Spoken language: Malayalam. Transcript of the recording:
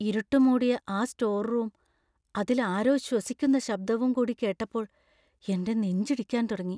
ഇരുട്ട് മൂടിയ ആ സ്റ്റോർ റൂമും അതിൽ ആരോ ശ്വസിക്കുന്ന ശബ്ദവും കൂടി കേട്ടപ്പോൾ എൻ്റെ നെഞ്ചിടിക്കാൻ തുടങ്ങി.